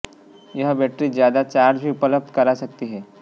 यह बैटरी ज्यादा चार्ज भी उपलब्ध करा सकती हैं